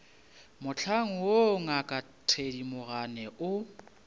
mohlang woo ngaka thedimogane o